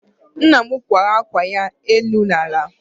Nna m kwara akwa ya, enu na ala